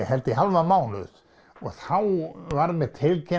held ég hálfan mánuð og þá var mér